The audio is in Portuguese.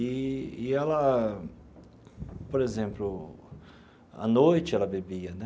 Eee e ela, por exemplo, à noite ela bebia, né?